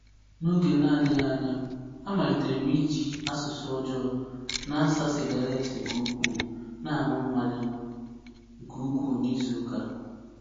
N’oge na-adịghị anya, amalitere m iji asụsụ ọjọọ, na-asa sigaret nke ukwuu, na-aṅụ mmanya nke ukwuu n’izu ụka.